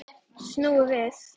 Snúið við.